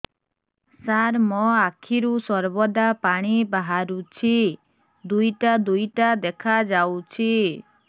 ସାର ମୋ ଆଖିରୁ ସର୍ବଦା ପାଣି ବାହାରୁଛି ଦୁଇଟା ଦୁଇଟା ଦେଖାଯାଉଛି